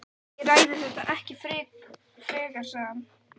Ég ræði þetta ekki frekar sagði hann.